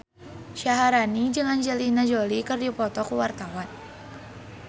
Syaharani jeung Angelina Jolie keur dipoto ku wartawan